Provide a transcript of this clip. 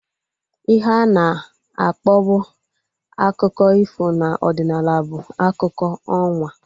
Ihe ana akpọbu akụkọ ifo na ọdịnala bụ akụkọ ọnwa